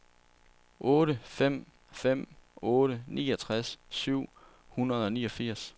otte fem fem otte niogtres syv hundrede og niogfirs